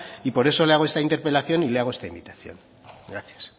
y por eso le hago esta interpelación y le hago esta invitación gracias